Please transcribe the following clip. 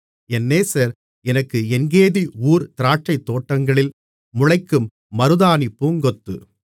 என் நேசர் எனக்கு எங்கேதி ஊர் திராட்சைத்தோட்டங்களில் முளைக்கும் மருதாணிப் பூங்கொத்து மணவாளன்